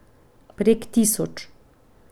Prek tisoč!